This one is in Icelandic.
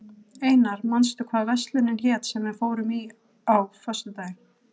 Einar, manstu hvað verslunin hét sem við fórum í á föstudaginn?